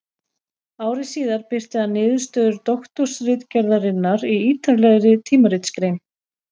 Ári síðar birti hann niðurstöður doktorsritgerðarinnar í ýtarlegri tímaritsgrein.